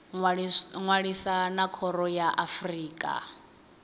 ṅwalisa na khoro ya afrika